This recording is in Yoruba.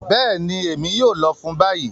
Bẹẹni, Emi yoo lọ fun bayi.